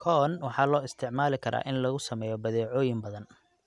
Corn waxaa loo isticmaali karaa in lagu sameeyo badeecooyin badan.